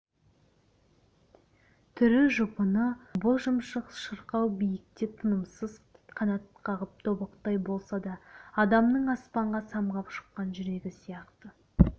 түрі жұпыны боз шымшық шырқау биікте тынымсыз қанат қағып тобықтай болса да адамның аспанға самғап шыққан жүрегі сияқты